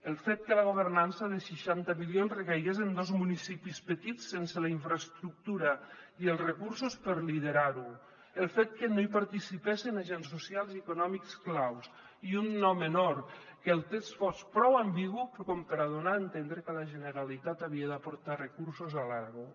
el fet que la governança de seixanta milions recaigués en dos municipis petits sense la infraestructura ni els recursos per liderar ho el fet que no hi participessen agents socials i econòmics claus i un no menor que el text fos prou ambigu com per a donar a entendre que la generalitat havia d’aportar recursos a l’aragó